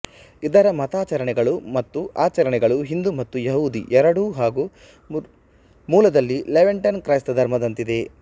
ಇದರ ಮತಾಚರಣೆಗಳು ಮತ್ತು ಆಚರಣೆಗಳು ಹಿಂದೂ ಮತ್ತು ಯೆಹೂದಿ ಎರಡೂ ಹಾಗು ಮೂಲದಲ್ಲಿ ಲೆವಂಟೇನ್ ಕ್ರೈಸ್ತಧರ್ಮದಂತಿದೆ